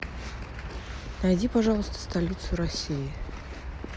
найди пожалуйста столицу россии